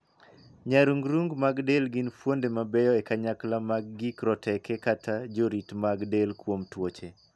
Nyarung'rung' mag del gin fuonde mabeyo e kanyakla mag gik roteke kata jorit mag del kuom tuoche.